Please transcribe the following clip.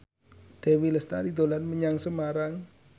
Dewi Lestari dolan menyang Semarang